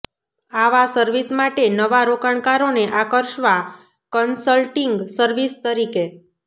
આવા સર્વિસ માટે નવા રોકાણકારોને આકર્ષવા કન્સલ્ટિંગ સર્વિસ તરીકે